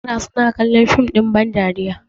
yara suna kallon dim ɗin bandariya